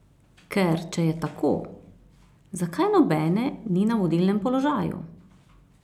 Ker če je tako, zakaj nobene ni na vodilnem položaju?